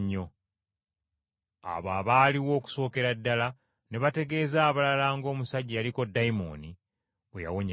Abo abaaliwo okusookera ddala ne bategeeza abalala ng’omusajja eyaliko ddayimooni bwe yawonyezebwa.